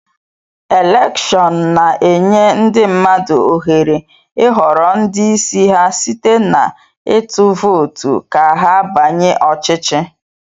Elèkshón na-enye ndị mmadụ ohere ịhọrọ ndị isi ha site na ịtụ vootu ka ha banye ọchịchị